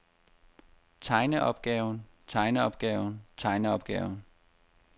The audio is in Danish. tegneopgaven tegneopgaven tegneopgaven